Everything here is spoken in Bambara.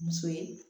Muso ye